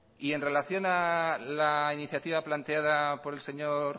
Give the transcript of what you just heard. y en relación a la iniciativa planteada por el señor